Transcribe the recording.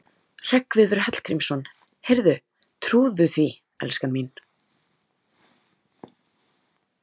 Hreggviður Hallgrímsson: Heyrðu, trúirðu því, elskan mín?